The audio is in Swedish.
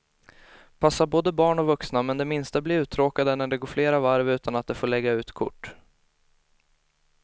Passar både barn och vuxna, men de minsta blir uttråkade när det går flera varv utan att de får lägga ut kort.